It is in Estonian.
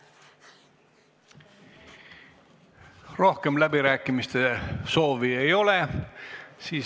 Rohkem läbirääkimiste soovi ei ole.